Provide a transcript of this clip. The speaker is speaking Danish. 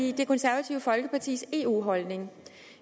i det konservative folkepartis eu holdning